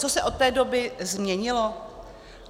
Co se od té doby změnilo?